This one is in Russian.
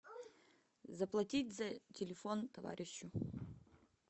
заплатить за телефон товарищу